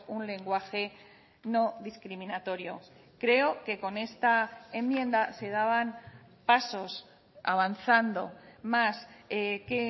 un lenguaje no discriminatorio creo que con esta enmienda se daban pasos avanzando más que